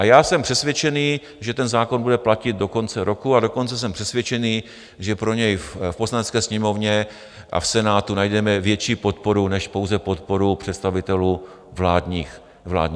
A já jsem přesvědčený, že ten zákon bude platit do konce roku, a dokonce jsem přesvědčený, že pro něj v Poslanecké sněmovně a v Senátu najdeme větší podporu než pouze podporu představitelů vládních stran.